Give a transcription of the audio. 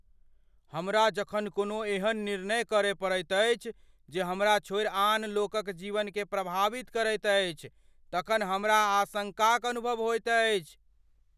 हमरा जखन कोनो एहन निर्णय करय पड़ैत अछि जे हमरा छोड़ि आन लोकक जीवनकेँ प्रभावित करैत अछि तखन हमरा आशंकाक अनुभव होइत अछि।